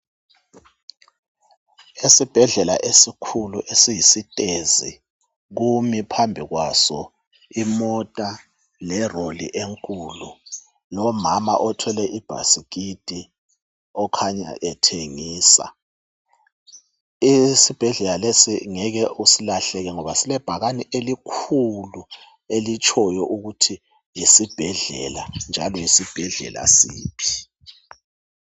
Esibhedlela esikhulu esiyisitezi kumi phambi kwaso imota lelori enkulu, lomama othwele ibhasikiti okhanya ethengisa. Esibhedlela lesi ngeke usalahleka ngoba silebhakane elikhulu elitshoyo ukuthi yesibhedlela njalo yesibhedlela siphi.